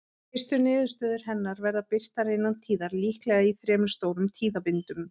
Fyrstu niðurstöður hennar verða birtar innan tíðar, líklega í þremur stórum tíðabindum.